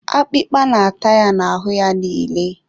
akpịkpa na-ata ya n'ahụ ya niile